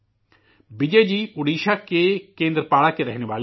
وجے جی اوڈیشہ کے کیندرپاڑا کے رہنے والے ہیں